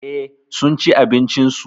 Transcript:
Eh, sunci abincin su.